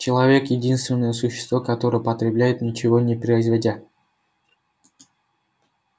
человек единственное существо которое потребляет ничего не производя